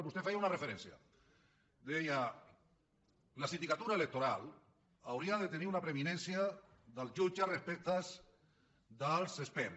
vostè en feia una referència deia la sindicatura electoral hauria de tenir una preeminència dels jutges respecte dels experts